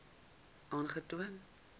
aangetoon